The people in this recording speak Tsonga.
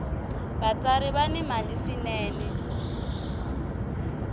vatsari va ni mali swinene